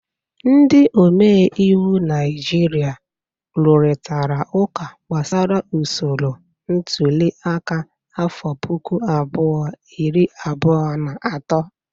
Ndị omeiwu Naijiria rụrịtara ụka gbasara usoro ntuliaka afọ puku abụọ, iri abụọ na atọ.